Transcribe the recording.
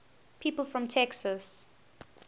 people from texas